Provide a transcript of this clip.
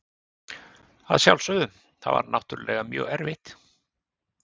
Að sjálfsögðu, það var náttúrulega mjög erfitt.